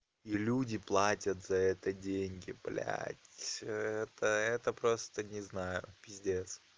и люди платят за это деньги блядь это это просто не знаю пиздец